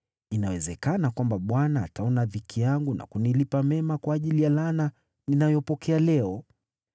Inawezekana kwamba Bwana ataona dhiki yangu na kunilipa mema kwa ajili ya laana ninayopokea leo.”